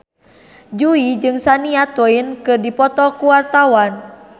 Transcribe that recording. Jui jeung Shania Twain keur dipoto ku wartawan